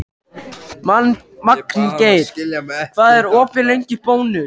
Magngeir, hvað er opið lengi í Bónus?